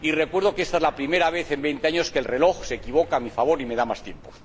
Y recuerdo que ésta es la primera vez en veinte años que el reloj se equivoca a mi favor y me da más tiempo.